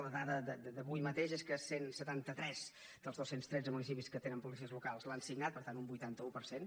la dada d’avui mateix és que cent i setanta tres dels dos cents i tretze municipis que tenen policies locals l’han signat per tant un vuitanta un per cent